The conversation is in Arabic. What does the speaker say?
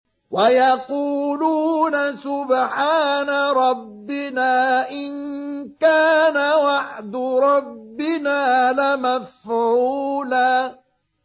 وَيَقُولُونَ سُبْحَانَ رَبِّنَا إِن كَانَ وَعْدُ رَبِّنَا لَمَفْعُولًا